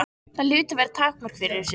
Það hlutu að vera takmörk fyrir þessu.